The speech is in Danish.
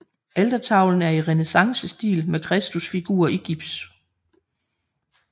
Altertavlen er i renæssancestil med Kristusfigur i gips